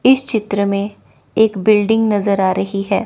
इस चित्र में एक बिल्डिंग नजर आ रही है।